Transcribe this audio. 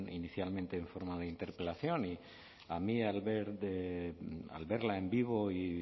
inicialmente en forma de interpelación y a mí al verla en vivo y